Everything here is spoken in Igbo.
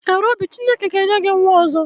Kàrà obi Chineke ga enye gị nwa ọzọ